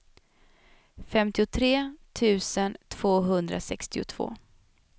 femtiotre tusen tvåhundrasextiotvå